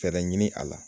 Fɛɛrɛ ɲini a la